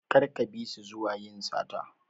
Kar ka bisu zuwa yin sata.